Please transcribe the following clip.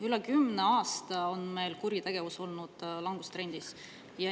Üle kümne aasta oli meil kuritegevus langustrendis.